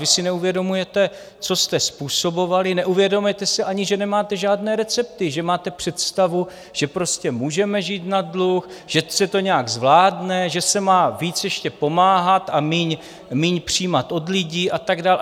Vy si neuvědomujete, co jste způsobovali, neuvědomujete si ani, že nemáte žádné recepty, že máte představu, že prostě můžeme žít na dluh, že se to nějak zvládne, že se má víc ještě pomáhat a méně přijímat od lidí a tak dál.